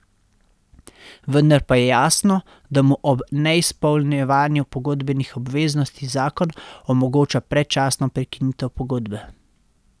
Vendar pa je jasno, da mu ob neizpolnjevanju pogodbenih obveznosti zakon omogoča predčasno prekinitev pogodbe.